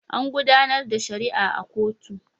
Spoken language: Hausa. An gudanar da shari'a a kotu.